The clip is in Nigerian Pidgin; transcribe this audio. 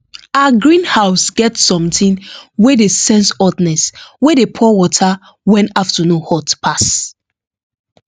her greenhouse get something wey dey sense hotness wey dey pour water when afternoon hot pass